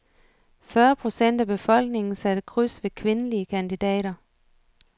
Fyrre procent af befolkningen satte kryds ved kvindelige kandidater.